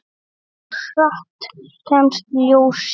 Hversu hratt kemst ljósið?